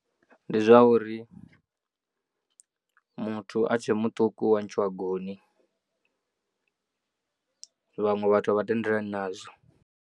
Ndi zwa uri muthu a tshe muṱuku wa ntshiwa goni vhaṅwe vhathu a vha tendelani nazwo.